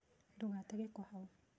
Ndũgate gĩko hau.